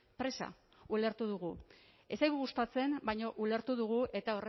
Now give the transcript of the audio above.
presa ulertu dugu ez zaigu gustatzen baina ulertu dugu eta